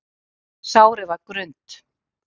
Sárið var grunnt.